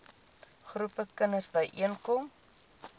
groepe kinders byeenkom